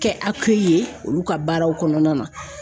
Kɛ ye olu ka baaraw kɔnɔna na